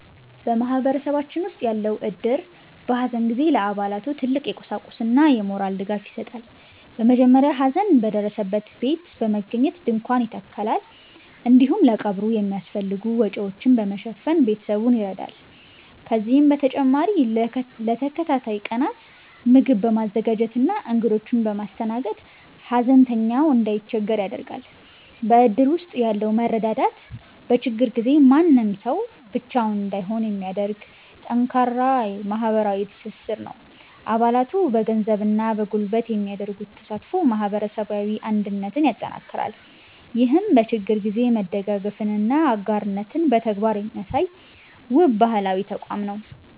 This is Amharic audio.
በማህበረሰባችን ውስጥ ያለው እድር፣ በሐዘን ጊዜ ለአባላቱ ትልቅ የቁሳቁስና የሞራል ድጋፍ ይሰጣል። በመጀመሪያ ሐዘን በደረሰበት ቤት በመገኘት ድንኳን ይተከላል፤ እንዲሁም ለቀብሩ የሚያስፈልጉ ወጪዎችን በመሸፈን ቤተሰቡን ይረዳል። ከዚህም በተጨማሪ ለተከታታይ ቀናት ምግብ በማዘጋጀትና እንግዶችን በማስተናገድ፣ ሐዘንተኛው እንዳይቸገር ያደርጋል። በእድር ውስጥ ያለው መረዳዳት፣ በችግር ጊዜ ማንም ሰው ብቻውን እንዳይሆን የሚያደርግ ጠንካራ ማህበራዊ ትስስር ነው። አባላቱ በገንዘብና በጉልበት የሚያደርጉት ተሳትፎ ማህበረሰባዊ አንድነትን ያጠናክራል። ይህም በችግር ጊዜ መደጋገፍንና አጋርነትን በተግባር የሚያሳይ፣ ውብ ባህላዊ ተቋም ነው።